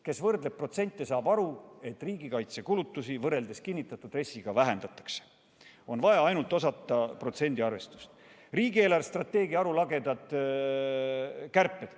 Kes võrdleb protsente, saab aru, et riigikaitsekulutusi võrreldes kinnitatud RES-iga vähendatakse, selleks on vaja ainult osata protsendiarvestust.